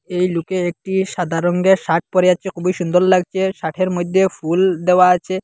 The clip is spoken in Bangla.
এই লুকে একটি সাদা রঙ্গের শার্ট পড়ে আছে খুবই সুন্দর লাগছে শার্টের মইধ্যে ফুল দেওয়া আছে।